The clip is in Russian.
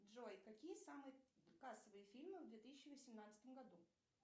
джой какие самые кассовые фильмы в две тысячи восемнадцатом году